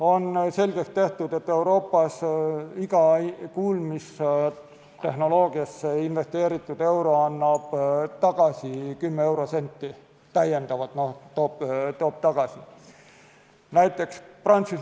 On selgeks tehtud, et Euroopas iga kuulmistehnoloogiasse investeeritud euro toob täiendavalt tagasi 10 senti.